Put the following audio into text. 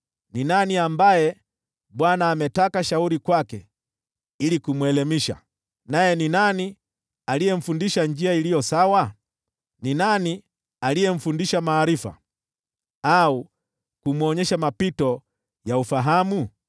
Ni nani ambaye Bwana ametaka shauri kwake ili kumwelimisha, naye ni nani aliyemfundisha njia iliyo sawa? Ni nani aliyemfundisha maarifa au kumwonyesha mapito ya ufahamu?